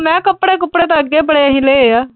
ਮੈਂ ਕਿਆ ਕੱਪੜੇ-ਕੁਪੜੇ ਤਾਂ ਅੱਗੇ ਅਸੀਂ ਬੜੇ ਲਏ ਆ।